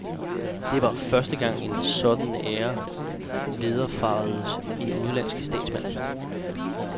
Det var første gang, en sådan ære vederfaredes en udenlandsk statsmand.